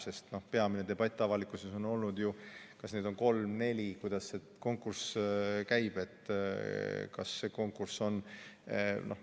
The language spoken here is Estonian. Sest peamine debatt avalikkuses on olnud ju selle üle, kas neid on kolm-neli, kuidas konkurss käib jne.